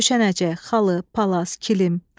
Döşənəcək, xalı, palas, kilim.